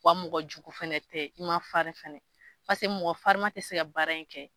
Wa mɔgɔjugu fɛnɛ tɛ i ma farin fɛnɛ paseke mɔgɔ farima ti se ka baara in kɛ.